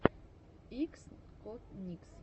иксконикс